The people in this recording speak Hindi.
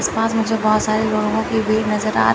आस पास मुझे बहुत सारे लोगों की भीड़ नजर आ--